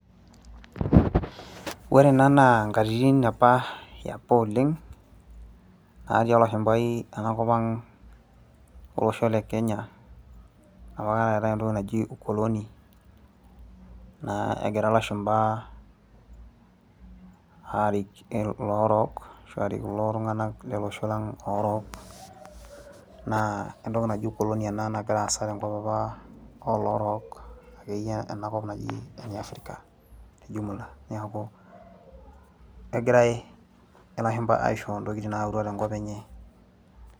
ore ena naa nkatititn apa apa oleng, natii olashumpai ena kop ang' olosho le kenya. enapa kata eetae entoki naji ukoloni. naa egira lashumpa aarik iloorok, kulo tunganak lolosho lang aa loorook. naa entoki naji ukoloni ena nagira aasa apa tenkop oloorok tenkop naji ene afrika te jumula. neeku kegirae kegira ilashumpa aishooyo ntokitin naayautua tenkop enye.